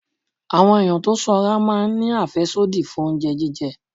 Àwọn ẹ̀yàn tó sanra máa ń àfẹ́sódì fún oúnjẹ jíjẹ.